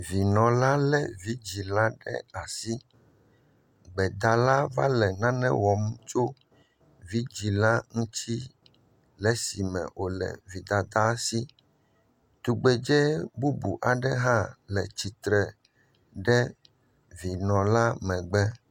Vinɔ la lé vidzɛ̃ la ɖe asi, gbedala va le nane wɔm tso vidzɛ̃ la ŋuti le esime wòle vi dada si. Tugbedzɛ bubu aɖe hã le tsitre ɖe vinɔ la megbe.